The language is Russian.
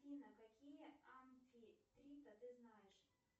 афина какие амфитрита ты знаешь